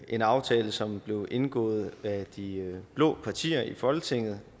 en aftale som blev indgået af de blå partier i folketinget